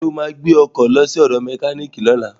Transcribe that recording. Ṣo ma gbé ọkọ̀ lọ sí ọ̀dọ̀ mẹkíníìkì lọ́la?